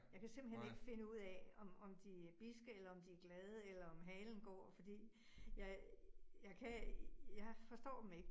Jeg kan simpelthen ikke finde ud af, om om de er bidske eller om de glade eller om halen går fordi jeg jeg kan jeg forstår dem ikke